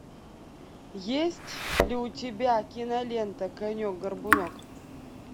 есть ли у тебя кинолента конек горбунок